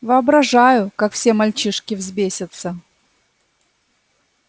воображаю как все мальчишки взбесятся